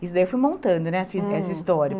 Isso daí eu fui montando, né, essa his essa história.